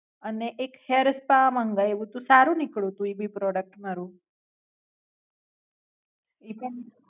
અને એક hair spa મંગાયવું તું. સારું નીકળું તું ઈ ભી Product મારુ. એ પણ